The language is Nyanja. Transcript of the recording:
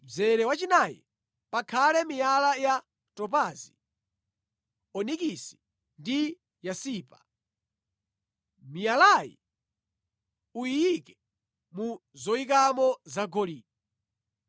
Mzere wachinayi pakhale miyala ya topazi, onikisi ndi yasipa. Miyalayi uyiike mu zoyikamo zagolide.